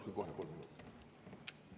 Palun kohe kolm minutit lisaks.